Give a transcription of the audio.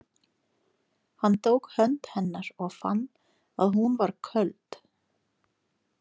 Hann tók hönd hennar og fann að hún var köld.